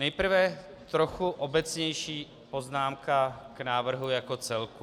Nejprve trochu obecnější poznámka k návrhu jako celku.